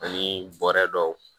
Ani bɔrɛ dɔw